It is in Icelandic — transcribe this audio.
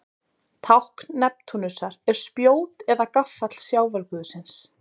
Tákn Neptúnusar er spjót eða gaffall sjávarguðsins.